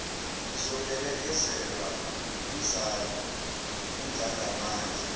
ngizophelekezelwa ngumzala undlangamandla